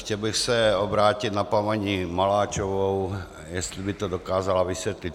Chtěl bych se obrátit na paní Maláčovou, jestli by to dokázala vysvětlit.